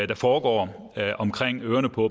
der foregår omkring ørerne på